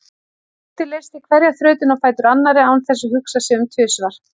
Tóti leysti hverja þrautina á fætur annarri án þess að hugsa sig um tvisvar.